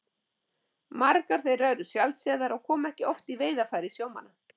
Margar þeirra eru sjaldséðar og koma ekki oft í veiðarfæri sjómanna.